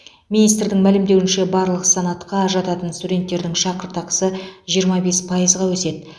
министрдің мәлімдеуінше барлық санатқа жататын студенттердің шәкіртақысы жиырма бес пайызға өседі